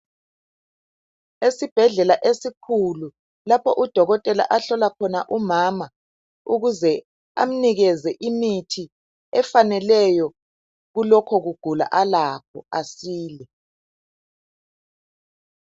Esibhedlela esikhulu lapho udokotela ahlola khona umama ukuze amnikeze imithi efaneleyo kulokho alakho asile.